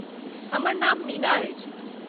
हमर नाम मीना अछि।